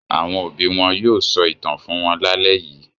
Àwọn òbí wọn yóò sọ ìtàn fún wọn lálẹ́ yìí.